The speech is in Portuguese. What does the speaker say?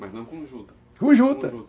Mas não com o juta, com juta! Com juta!